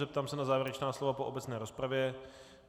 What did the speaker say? Zeptám se na závěrečná slova po obecné rozpravě.